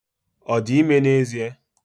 Ọ dị ime n'ezie?